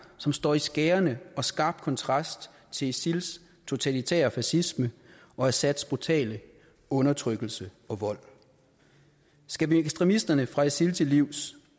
som står i skærende og skarp kontrast til isils totalitære fascisme og assads brutale undertrykkelse og vold skal vi ekstremisterne fra isil til livs